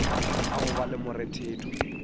a go ba le morethetho